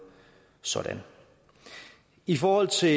sådan i forhold til